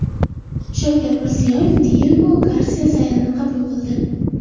Shavkat Mirziyoyev Diyego Garsiya-Sayanni qabul qildi.